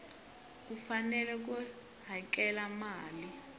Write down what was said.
u fanele ku hakela mali